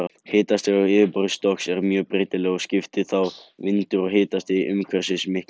Hitastig á yfirborði Strokks er mjög breytilegt og skiptir þá vindur og hitastig umhverfisins miklu.